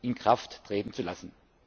in Kraft treten zu lassen.